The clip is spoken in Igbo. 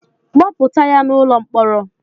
Kpọpụta ya n'ụlọ mkpọrọ!